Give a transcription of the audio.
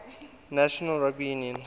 national rugby union